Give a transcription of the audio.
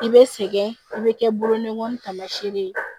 I bɛ sɛgɛn i bɛ kɛ bolonɔ taamasiyɛn ye